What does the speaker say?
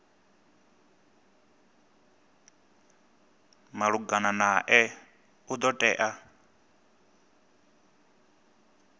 malugana nae u do tea